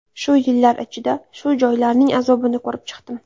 Shu yillar ichida shu joylarning azobini ko‘rib chiqdim.